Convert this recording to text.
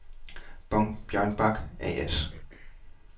Bong Bjørnbak A/S